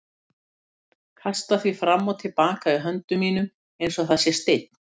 Kasta því fram og til baka í höndum mínum einsog það sé steinn.